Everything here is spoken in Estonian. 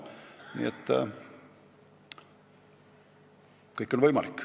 Nii et kõik on võimalik.